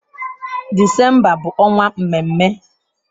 Disemba bụ ọnwa mmemme.